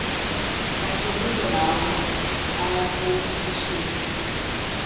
macebiso lawo abasetyhini